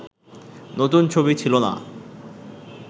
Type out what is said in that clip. নতুন ছবি ছিল না